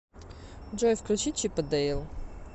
джой включи чип и дейл